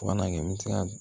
Fo ka na kɛ n bɛ se ka